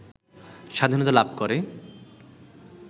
স্বাধীনতা লাভ করে